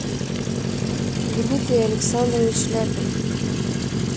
дмитрий александрович ляпин